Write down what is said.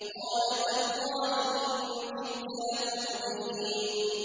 قَالَ تَاللَّهِ إِن كِدتَّ لَتُرْدِينِ